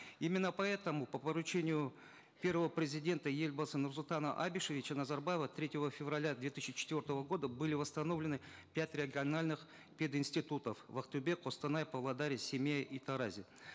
именно поэтому по поручению первого президента елбасы нурсултана абишевича назарбаева третьего февраля две тысячи четвертого года были восстановлены пять региональных пед институтов в актобе костанае павлодаре семее и таразе